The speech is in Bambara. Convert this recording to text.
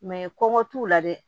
kɔngɔ t'u la dɛ